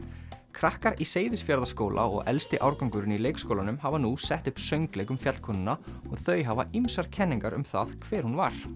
krakkar í Seyðisfjarðarskóla og elsti árgangurinn í leikskólanum hafa nú sett upp söngleik um fjallkonuna og þau hafa ýmsar kenningar um það hver hún var